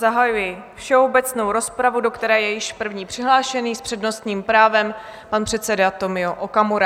Zahajuji všeobecnou rozpravu, do které je již první přihlášený s přednostním právem pan předseda Tomio Okamura.